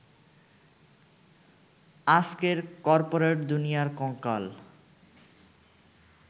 আজকের করপোরেট দুনিয়ার কঙ্কাল।